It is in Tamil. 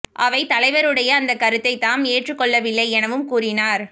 அவை தலைவருடைய அந்த கருத்தை தாம் ஏற்றுக் கொள்ளவில்லை எனவும் கூறினார்